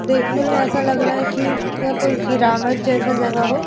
देखने में ऐसा लग रहा है कि यह कोई पिरामिड जैसा जगह हो।